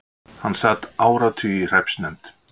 Hann sat áratugi í hreppsnefnd.